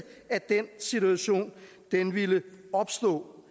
at den situation ville opstå